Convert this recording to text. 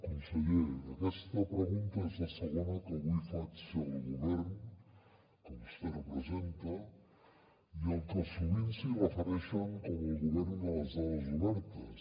conseller aquesta pregunta és la segona que avui faig al govern que vostè representa i al que sovint es refereixen com al govern de les dades obertes